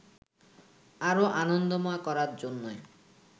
আরো আনন্দময় করার জন্যই